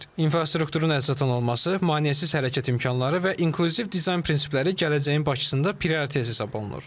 İnfrastrukturun əlçatan olması, maneəsiz hərəkət imkanları və inklüziv dizayn prinsipləri gələcəyin Bakısında prioritet hesab olunur.